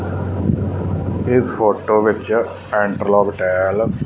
ਇੱਸ ਫ਼ੋਟੋ ਵਿੱਚ interlock tile --